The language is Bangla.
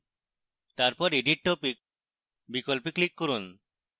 তারপর edit topic বিকল্পে click করুন